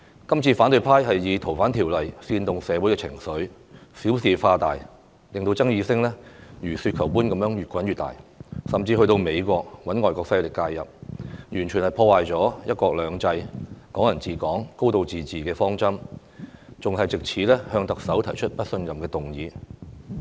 這次反對派以《逃犯條例》煽動社會情緒，小事化大，令爭議聲如雪球般越滾越大，甚至去到美國找外國勢力介入，完全破壞"一國兩制"、"港人治港"、"高度自治"的方針，還藉此提出不信任特首的議案。